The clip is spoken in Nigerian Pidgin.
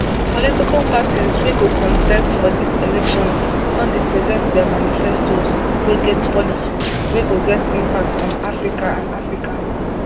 political parties wey go contest for these elections don present dia manifestoes wey get policies wey go get impact on africa and africans